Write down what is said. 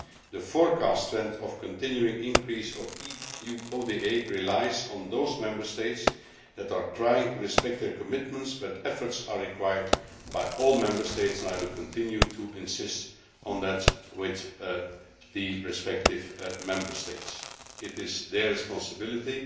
The forecasted trend of a continuing increase in EU ODA relies on those Member States that are trying to respect their commitments, but efforts are required by all Member States, and I will continue to insist on that with the respective Member Sates. It is their responsibility.